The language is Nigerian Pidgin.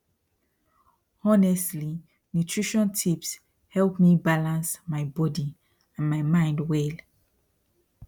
honestly nutrition tips help me balance my body and mind well